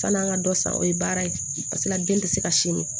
San'an ka dɔ san o ye baara ye paseke den tɛ se ka sin min